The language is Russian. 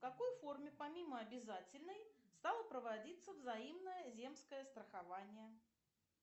в какой форме помимо обязательной стало проводиться взаимное земское страхование